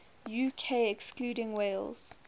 uk excluding wales